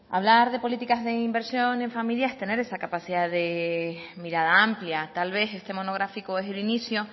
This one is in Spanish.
hablar de políticas de inversión en familia es tener esa capacidad de mirada amplia tal vez este monográfico es el inicio